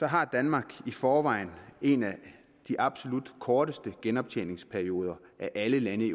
har danmark i forvejen en af de absolut korteste genoptjeningsperioder af alle lande i